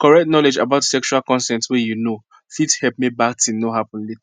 correct knowledge about sexual consent way you know fit help make bad thing no happen later